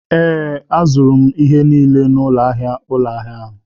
Ee, azụrụ m ihe niile n'ụlọ ahịa ụlọ ahịa.